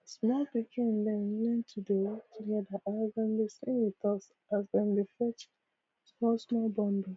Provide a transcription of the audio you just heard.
small pikin dem learn to dey work together as dem dey sing with us as dem dey fetch small small bundles